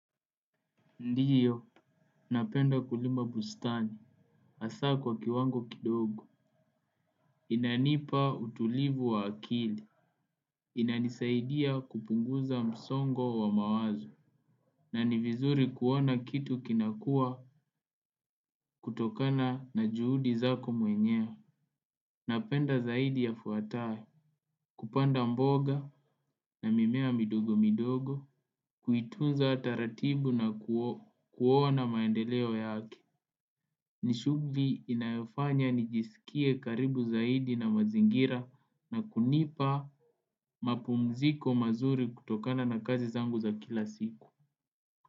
Ndiyo, napenda kulima bustani, asaa kwa kiwango kidogo. Inanipa utulivu wa akili. Inanisaidia kupunguza msongo wa mawazo. Na ni vizuri kuona kitu kinakua kutokana na juhudi zako mwenyewe. Napenda zaidi yafuatayo. Kupanda mboga na mimea midogo midogo kuitunza taratibu na kuona maendeleo yake. Ni shugli inayofanya nijisikie karibu zaidi na mazingira na kunipa mapumziko mazuri kutokana na kazi zangu za kila siku.